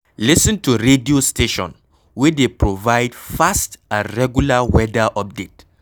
Lis ten to radio station wey dey provide fast and regular weather update